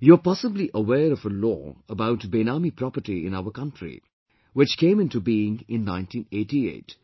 You are possibly aware of a Law about Benami Property in our country which came into being in 1988,